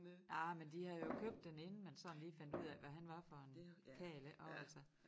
Ej men de havde jo købt den inden man sådan lige fandt ud af hvad han var for en karl ik også altså